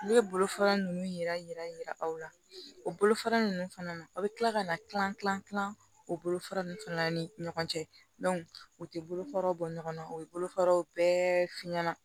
Ne ye bolofara ninnu yira aw la o bolofara ninnu fana na a bɛ tila ka na kilan kilan kilan o bolofara ninnu fana na ni ɲɔgɔn cɛ u tɛ bolofaraw bɔ ɲɔgɔnna o ye bolofaraw bɛɛ f'i ɲɛna